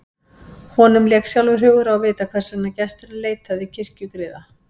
Honum lék sjálfum hugur á að vita hvers vegna gesturinn leitaði kirkjugriða.